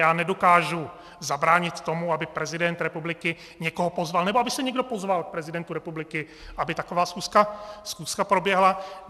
Já nedokážu zabránit tomu, aby prezident republiky někoho pozval nebo aby se někdo pozval k prezidentovi republiky, aby taková schůzka proběhla.